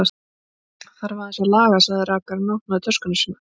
Það þarf aðeins að laga, sagði rakarinn og opnaði töskuna sína.